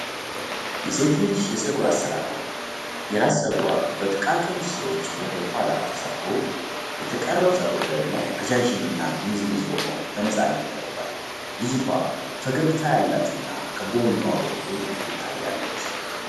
የሴት ልጅ የጸጉር አሰራር ነው። የራስ ጸጉሯ በጥቃቅን ስሮች ወደ ኋላ ተሰርቶ፣ የተቀረው ጸጉር ደግሞ ረጃጅም እና ጥምዝምዝ ሆኖ በነፃነት ተለቋል። ልጅቷ ፈገግታ ያላት እና ከጎኗ በኩል ትታያለች።